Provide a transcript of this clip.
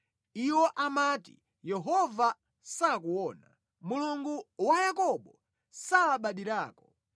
Iwo amati, “Yehova sakuona; Mulungu wa Yakobo salabadirako.”